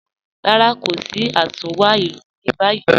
Rárá, kò sí àtúnwá ilù ní báyì